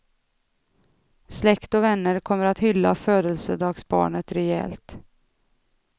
Släkt och vänner kommer att hylla födelsedagsbarnet rejält.